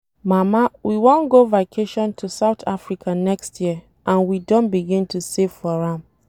Mama we wan go vacation to South Africa next year and we don begin to save for am.